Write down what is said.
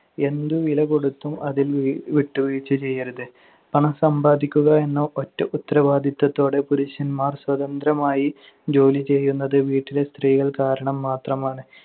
എന്തുവിലകൊടുത്തും അതിൽ വിട്ടുവീഴ്ച ചെയ്യരുത്. പണം സമ്പാദിക്കുക എന്ന ഒറ്റ ഉത്തരവാദിത്തത്തോടെ പുരുഷന്മാർ സ്വതന്ത്രമായി ജോലി ചെയ്യുന്നത് വീട്ടിലെ സ്ത്രീകൾ കാരണം മാത്രമാണ്.